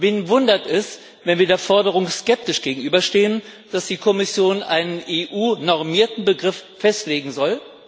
Wen wundert es, wenn wir der Forderung skeptisch gegenüberstehen, dass die Kommission einen EU normierten Begriff festlegen soll?